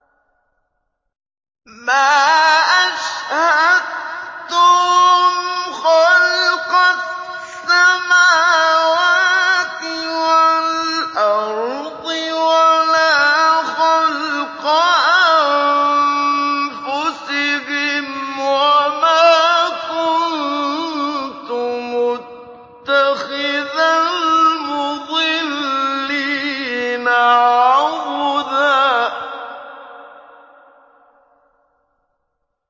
۞ مَّا أَشْهَدتُّهُمْ خَلْقَ السَّمَاوَاتِ وَالْأَرْضِ وَلَا خَلْقَ أَنفُسِهِمْ وَمَا كُنتُ مُتَّخِذَ الْمُضِلِّينَ عَضُدًا